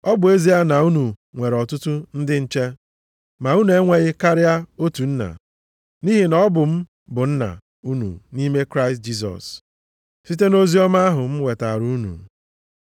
Ọ bụ ezie na unu nwere ọtụtụ ndị nche, ma unu enweghị karịa otu nna. Nʼihi na ọ bụ m bụ nna unu nʼime Kraịst Jisọs, site nʼoziọma ahụ m wetaara unu.